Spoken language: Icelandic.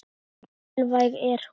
Svo mikilvæg er hún.